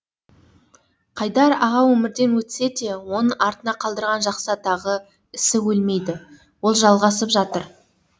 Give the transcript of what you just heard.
қайдар аға өмірден өтсе де оның артына қалдырған жақсы атағы ісі өлмейді ол жалғасып жатыр